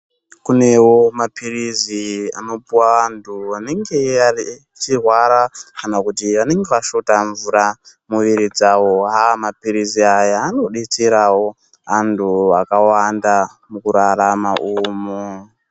Kunewo maphirizi anopuwa antu anenge aaeechirwara kana kuti anenge ashota mvura mumwiiri dzavo. Aaa maphirizi aya anodetserawo antu akawanda mukurarama umo.